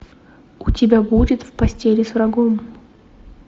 у тебя будет в постели с врагом